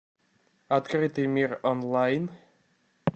открытый мир онлайн